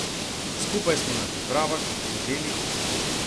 Skupaj smo na pripravah, v hotelih ...